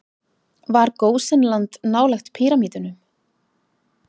Var Gósenland nálægt píramídunum?